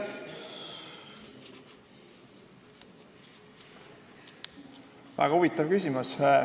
Väga huvitav küsimus.